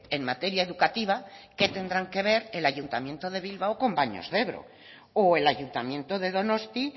en materia educativa qué tendrán que ver el ayuntamiento de bilbao con baños de ebro o el ayuntamiento de donosti